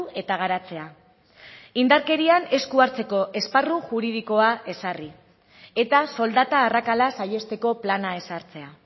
eta garatzea indarkerian esku hartzeko esparru juridikoa ezarri eta soldata arrakala saihesteko plana ezartzea